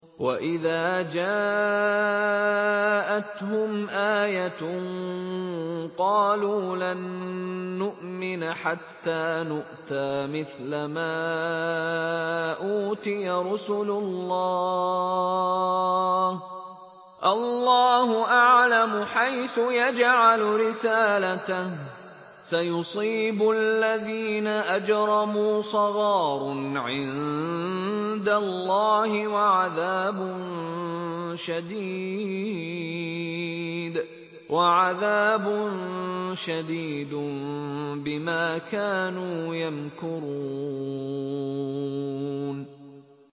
وَإِذَا جَاءَتْهُمْ آيَةٌ قَالُوا لَن نُّؤْمِنَ حَتَّىٰ نُؤْتَىٰ مِثْلَ مَا أُوتِيَ رُسُلُ اللَّهِ ۘ اللَّهُ أَعْلَمُ حَيْثُ يَجْعَلُ رِسَالَتَهُ ۗ سَيُصِيبُ الَّذِينَ أَجْرَمُوا صَغَارٌ عِندَ اللَّهِ وَعَذَابٌ شَدِيدٌ بِمَا كَانُوا يَمْكُرُونَ